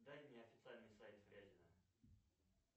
дай мне официальный сайт фрязино